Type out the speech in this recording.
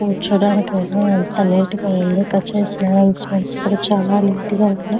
కూర్చోడానికి అయినా అంత నీట్ గ ఉంది చాల నీట్ గ ఉన్నాయి .